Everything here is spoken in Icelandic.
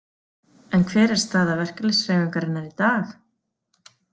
En hver er staða verkalýðshreyfingarinnar í dag?